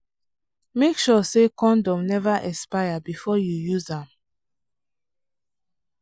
make sure say condom never expire before you use am.